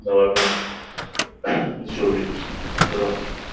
давай брат ещё увидимся до завтра